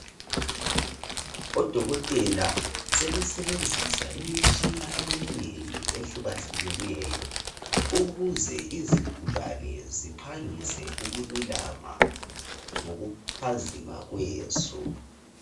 Odokotela sebesebenzisa imitshina eminengi ehlukahlukeneyo ukuze izigulane ziphangise ukululama ngokuphazima kweso.